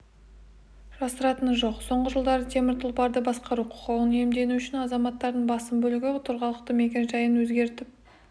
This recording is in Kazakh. жасыратыны жоқ соңғы жылдары темір тұлпарды басқару құқығын иемдену үшін азаматтардың басым бөлігі тұрғылықты мекен-жайын өзгертіп